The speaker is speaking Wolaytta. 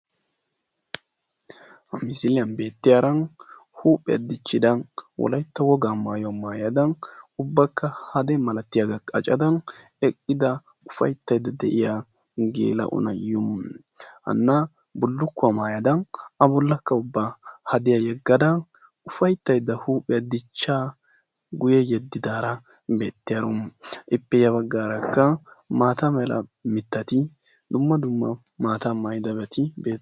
Ha misiliyan beettiyaara huuphiya dichchida wolaytta wogaa maayuwa maayada ubbakka hade malatiyagaa qacada eqqida ufayittayidda de'iya geela'o na'iyo. Hanna bullukkuwa maayada a bollakka ubba hadiya yeggada ufayittayidda huuphiya dichcha guye yeddidaara beettiyaaro. Ippe ya baggaarakka maata mala mittati dumma dumma maataa maayidabati